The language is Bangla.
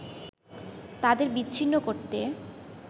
তাদের বিচ্ছিন্ন করতে